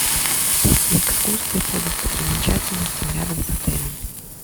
есть ли экскурсия по достопримечательностям рядом с отелем